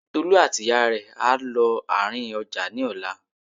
Tolú àti ìyá rẹ̀ á lọ àárín ọjà ní ọ̀la